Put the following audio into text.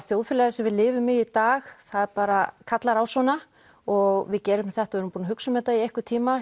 þjóðfélagið sem við lifum í í í dag það bara kallar á svona og við gerum þetta og erum búin að hugsa um þetta í einhvern tíma